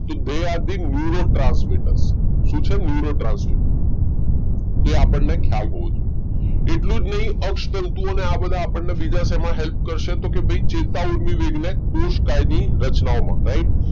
are the neuro transmitters શું છે neuro transmitters તે આપણને ખ્યાલ હોવો જોઈએ એટલું જ નહી અક્ષ તંતુ અને આ બધા બીજા શેમાં help કરે તો ભાઈ ચેતા ઊર્મિ વેગને કોષકાની રચનામાં right